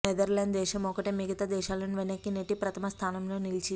Netherland దేశం ఒక్కటే మిగతా దేశాలను వెనక్కి నెట్టి ప్రథమ స్థానంలో నిలిచింది